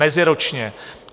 Meziročně!